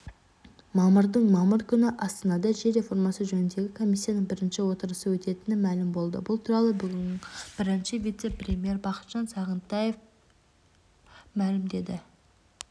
мамырдың мамыр күні астанада жер реформасы жөніндегі комиссияның бірінші отырысы өтетіні мәлім болды бұл туралы бүгін бірінші вице-премьері бақытжан сағынтаев мәлімдеді